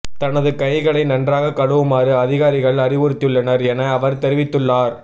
தனது கைகளை நன்றாக கழுவுமாறு அதிகாரிகள் அறிவுறுத்தியுள்ளனர் என அவர் தெரிவித்துள்ளார்